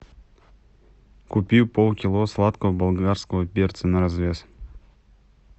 купи полкило сладкого болгарского перца на развес